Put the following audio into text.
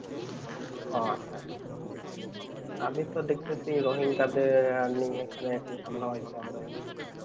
আহ আচ্ছা আচ্ছা আমি তো দেখতেছি রোহিঙ্গাদের নিয়ে এখানে একটু ঝামেলা হইতেছে আমাদের